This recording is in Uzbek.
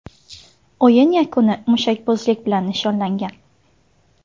O‘yin yakuni mushakbozlik bilan nishonlangan.